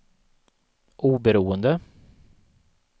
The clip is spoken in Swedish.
oberoende